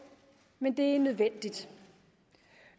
men det er nødvendigt